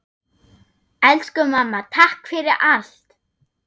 Elsku mamma, takk fyrir allt!